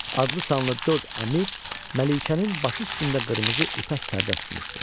Adlı-sanlı dörd əmir Məlikənin başı üstündə qırmızı ipək pərdə tutmuşdu.